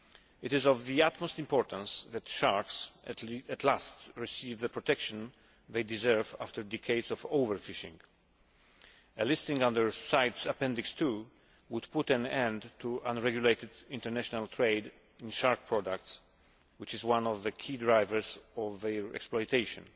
It is of the utmost importance that sharks at last receive the protection they deserve after decades of overfishing. A listing under CITES Appendix II would put an end to unregulated international trade in shark products which is one of the key drivers of their exploitation.